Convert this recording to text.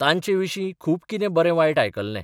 तांचेविशी खूब कितें बरें वायट आयकल्लें.